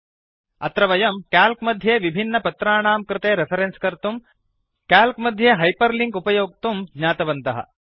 अत्र वयं क्याल्क् मध्ये विभिन्नपत्राणां कृते रेफरेन्स् कर्तुं क्याल्क् मध्ये हैपर् लिंक् उपयोक्तुं ज्ञातवन्तः